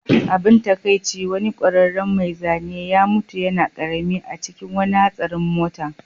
Abin takaici, wani ƙwararren mai zane ya mutu yana ƙarami a cikin wani hatsarin mota